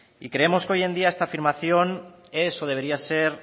y creemos que hoy en día esta afirmación es o debería ser